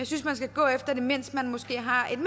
synes man skal gå efter det mens man måske har et